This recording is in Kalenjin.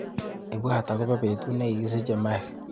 Ibwatwa akobo betut nekikisiche Mike.